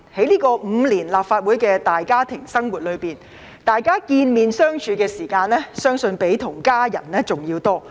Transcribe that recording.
在立法會大家庭5年的生活，大家相見和相處的時間，相信要比與家人的還要多。